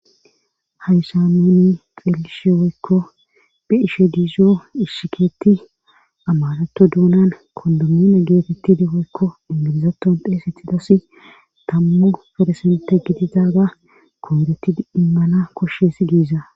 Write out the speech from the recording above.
haysamuni qeelishe weykko bi ishe diizo ishshikeetti amarato duunan kondomune geetetti diweykko ingilizaton deesetidassi tammu faresente gidi daaga koworetti immana koshshesi giiza